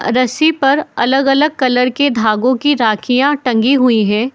रस्सी पर अलग-अलग कलर की धागों की राखियां टंगे हुए हैं।